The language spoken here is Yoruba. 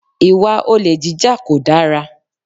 Ìwà olè jíjà kò dára.